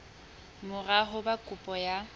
mora ho ba kopo ya